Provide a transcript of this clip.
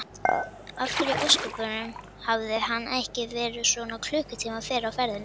Af hverju í ósköpunum hafði hann ekki verið svona klukkutíma fyrr á ferðinni?